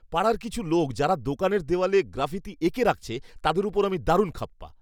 পাড়ার কিছু লোক যারা দোকানের দেওয়ালে গ্রাফিতি এঁকে রাখছে, তাদের ওপর আমি দারুণ খাপ্পা!